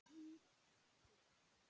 Þýð. Sig.